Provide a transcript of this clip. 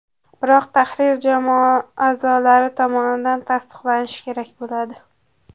Biroq tahrir jamoa a’zolari tomonidan tasdiqlanishi kerak bo‘ladi.